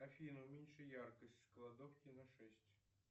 афина уменьши яркость в кладовке на шесть